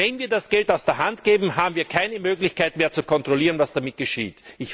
Wenn wir das Geld aus der Hand geben, haben wir keine Möglichkeit mehr zu kontrollieren, was damit geschieht.